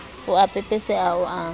o a pepeseha o a